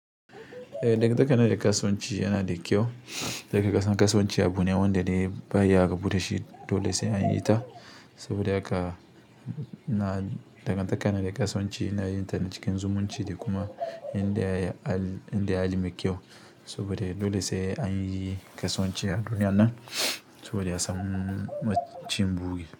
Eh, dagan taka na da kasuwanci yana da kyau. Dagantakar kasuwanci abu ne wanda baa iya rabu dashi, dole sai an yi ta. Saboda haka dagantakar na da kasuwanci ana yin ta cikin zumunci da kuma inda ya yi inda ya hali me kyau. Saboda dole sai an yi kasuwanci a duniya nan saboda ya samu cin buge.